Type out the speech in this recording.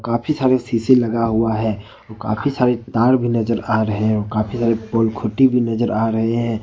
काफी सारे शीशे लगा हुआ है काफी सारे तार भी नजर आ रहे है काफी सारे भी नजर आ रहे है।